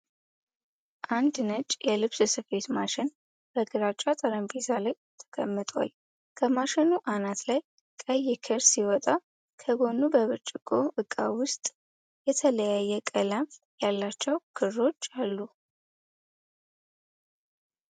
አንድ ነጭ የልብስ ስፌት ማሽን በግራጫ ጠረጴዛ ላይ ተቀምጧል። ከማሽኑ አናት ላይ ቀይ ክር ሲወጣ፣ ከጎኑ በብርጭቆ ዕቃ ውስጥ የተለያየ ቀለም ያላቸው ክሮች አሉ።